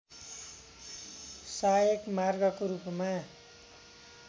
सहायक मार्गको रूपमा